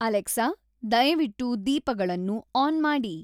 Alexa ದಯವಿಟ್ಟು ದೀಪಗಳನ್ನು on ಮಾಡಿ